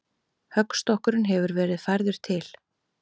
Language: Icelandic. Höggstokkurinn hefur verið færður til.